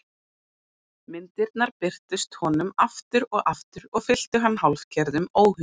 Myndirnar birtust honum aftur og aftur og fylltu hann hálfgerðum óhug.